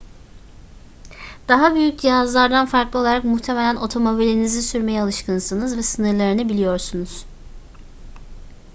daha büyük cihazlardan farklı olarak muhtemelen otomobilinizi sürmeye alışkınsınız ve sınırlarını biliyorsunuz